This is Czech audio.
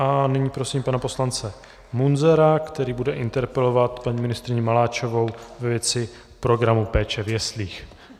A nyní prosím pana poslance Munzara, který bude interpelovat paní ministryni Maláčovou ve věci programu péče v jeslích.